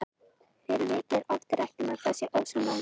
Fyrir vikið er oft rætt um að þar sé ósonlagið.